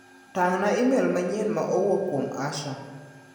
Tang' na imel manyien ma owuok kuom Asha.